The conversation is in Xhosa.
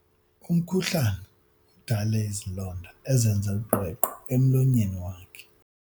Umkhuhlane udale izilonda ezenze uqweqwe emlonyeni wakhe.